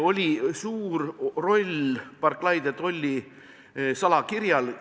... oli suur roll Barclay de Tolly salakirjal.